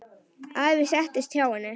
Afi settist hjá henni.